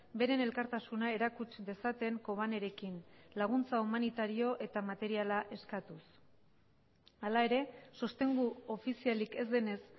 beren elkartasuna erakutsi dezaten kobanerekin laguntza humanitario eta materiala eskatuz hala ere sostengu ofizialik ez denez